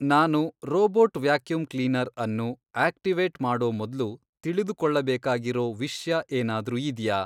ನಾನು robot vacuum cleaner ಅನ್ನು activate ಮಾಡೋ ಮೊದ್ಲು ತಿಳಿದುಕೊಳ್ಳಬೇಕಾಗಿರೋ ವಿಷ್ಯ ಏನಾದ್ರೂ ಇದ್ಯಾ